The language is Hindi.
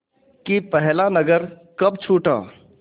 कि पहला नगर कब छूटा